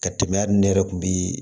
Ka tɛmɛ hali ne yɛrɛ kun bi